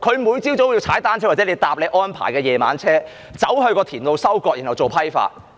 他每天早上都要騎單車或乘搭當局安排的"夜車"到田裏收割，然後做批發。